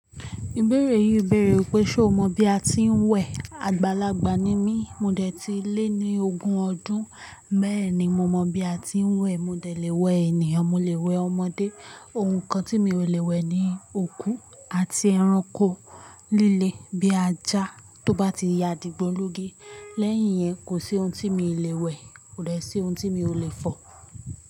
Ìbéèrè yìí béèrè wípé ṣe o mọ bí a ti ń wẹ̀? Àgbàlagbà ni mí, mo dẹ̀ ti lé ní ogún ọdún bẹ́ẹ̀ ni mo mọ̀ bí a ti ń wẹ̀. Mo dẹ̀ lè wẹ̀ ènìyàn, mo lè wẹ̀ ọmọdé. Ohun kan tí mi ò lè wẹ̀ ni òkú àti ẹranko líle bíi ajá tó bá ti ya dìgbólugi. Lẹ́yìn yẹn, kò sí ohun tí mi ò lè wẹ̀, kò dẹ̀ sí ohun tí mi ò lè fọ̀.